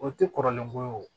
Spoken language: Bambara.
O tɛ kɔrɔlen ko ye o